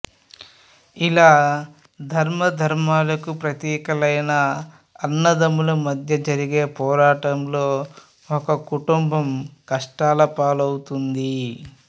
ఇలా ధర్మాధర్మాలకు ప్రతీకలైన అన్నదమ్ముల మధ్య జరిగే పోరాటంలో ఒక కుటుంబం కష్టాల పాలవుతుంది